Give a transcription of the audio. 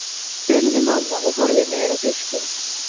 spurði mamma og horfði niður á diskinn.